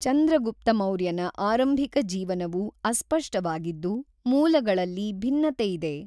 ಚಂದ್ರಗುಪ್ತ ಮೌರ್ಯನ ಆರಂಭಿಕ ಜೀವನವು ಅಸ್ಪಷ್ಟವಾಗಿದ್ದು, ಮೂಲಗಳಲ್ಲಿ ಭಿನ್ನತೆಯಿದೆ.